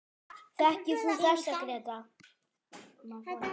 Þekkir þú þessa, Gréta?